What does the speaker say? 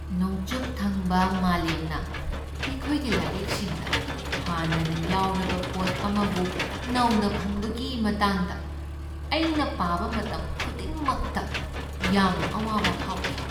ꯅꯣꯡꯆꯨꯞ ꯊꯪꯕ ꯃꯥꯂꯦꯝꯅ ꯑꯩꯈꯣꯏꯒꯤ ꯂꯥꯏꯔꯤꯛꯁꯤꯡꯗ ꯍꯥꯟꯅꯅ ꯌꯥꯎꯔꯕ ꯄꯣꯠ ꯑꯃꯕꯨ "ꯅꯧꯅ ꯐꯪꯕ" ꯒꯤ ꯃꯇꯥꯡꯗ ꯑꯩꯅ ꯄꯥꯕ ꯃꯇꯝ ꯈꯨꯗꯤꯡꯃꯛꯇ ꯌꯥꯝꯅ ꯑꯋꯥꯕ ꯐꯥꯎꯈꯤ꯫